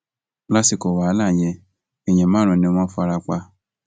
lásìkò wàhálà yẹn èèyàn márùnún ni wọn fara pa